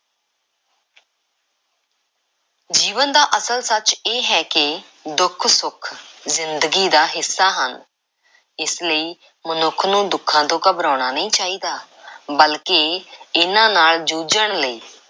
ਜੀਵਨ ਦਾ ਅਸਲ ਸੱਚ ਇਹ ਹੈ ਕਿ ਦੁੱਖ, ਸੁੱਖ ਜ਼ਿੰਦਗੀ ਦਾ ਹਿੱਸਾ ਹਨ। ਇਸ ਲਈ ਮਨੁੱਖ ਨੂੰ ਦੁੱਖਾਂ ਤੋਂ ਘਬਰਾਉਣਾ ਨਹੀਂ ਚਾਹੀਦਾ ਬਲਕਿ ਇਹਨਾਂ ਨਾਲ਼ ਜੂਝਣ ਲਈ